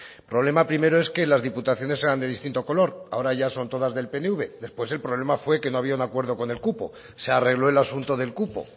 el problema primero es que las diputaciones sean de distinto color ahora ya son todas del pnv después el problema fue que no había un acuerdo con el cupo se arregló el asunto del cupo